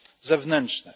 zewnętrzne.